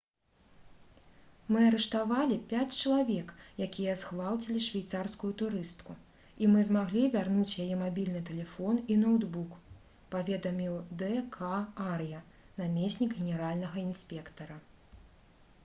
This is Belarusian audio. «мы арыштавалі пяць чалавек якія згвалцілі швейцарскую турыстку і мы змаглі вярнуць яе мабільны тэлефон і ноўтбук» — паведаміў д. к. ар'я намеснік генеральнага інспектара